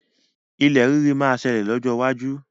Ilẹ̀ rírì máa ṣẹlẹ̀ lọ́jọ́ iwájú.